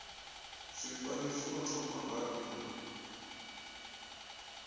zwifani zwino thoma nga n